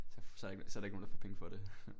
Så så er der ikke nogen der for penge for det